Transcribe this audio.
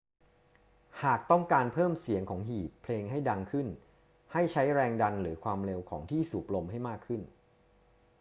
หากต้องการเพิ่มเสียงของหีบเพลงให้ดังขึ้น ให้ใช้แรงดันหรือความเร็วของที่สูบลมให้มากขึ้น